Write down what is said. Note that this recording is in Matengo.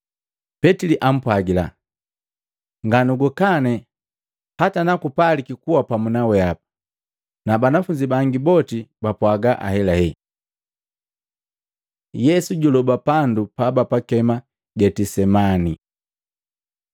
Petili apwagila, “Nganugukane hata nakupalika kuwa pamu naweapa.” Na banafunzi bangi boti bapwaga ahelahela. Yesu juloba pandu pabapakema Getisemani Maluko 14:32-42; Luka 22:39-46